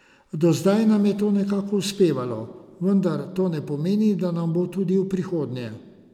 Do zdaj nam je to nekako uspevalo, vendar to ne pomeni, da nam bo tudi v prihodnje.